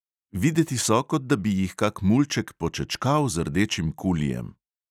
Videti so, kot da bi jih kak mulček počečkal z rdečim kulijem.